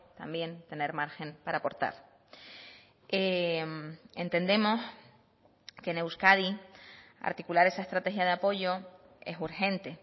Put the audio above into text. también tener margen para aportar entendemos que en euskadi articular esa estrategia de apoyo es urgente